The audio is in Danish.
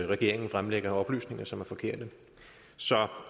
regeringen fremlægger oplysninger som er forkerte